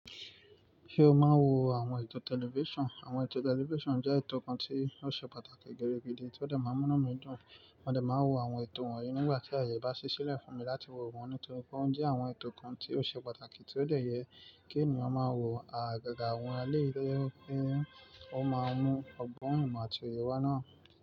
Ṣé o máa ń wo àwọn ètò tẹlifíṣàn? Àwọn ètò tẹlifíṣàn jẹ́ ètò kan tí ó ṣe pàtàkì gẹ́gẹ́ bí díè tí ó dẹ̀ máa ń múnú mi dùn. Mo dẹ̀ máa wo àwọn ètò wọ̀nyí nígbà tí àyè bá ṣí sílẹ̀ fún mi láti wo wọn nítorí pé ó jẹ́ àwọn ètò kan tí ó ṣe pàtàkì tí ó dẹ̀ yẹ kí ènìyàn máa wò, àgàgà àwọn alẹ́ ilé ó pé ó máa ń mú ọgbọ́n ìmọ̀ àti òye wá náà.